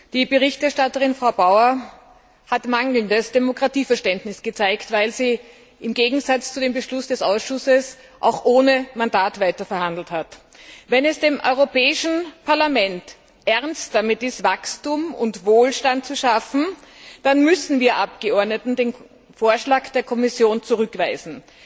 Die Berichterstatterin, Frau Bauer, hat mangelndes Demokratieverständnis gezeigt, weil sie im Gegensatz zu dem Beschluss des Ausschusses auch ohne Mandat weiter verhandelt hat. Wenn es dem Europäischen Parlament ernst damit ist, Wachstum und Wohlstand zu schaffen, dann müssen wir Abgeordneten den Vorschlag der Kommission zurückweisen.